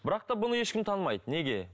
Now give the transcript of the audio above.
бірақ та бұны ешкім танымайды неге